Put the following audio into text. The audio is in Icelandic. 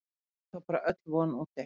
Er þá bara öll von úti?